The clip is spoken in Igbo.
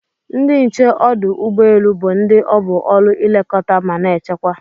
Ndi nche odụ ụgbọ elu bu ndi obu ọlu ilekọta mana echekwa.